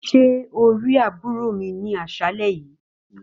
Ṣe kí o ri àbúrò mi ni aṣalẹ yìí.